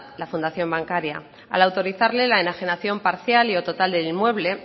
la fundación bancaria al autorizarle la enajenación parcial y o total del inmueble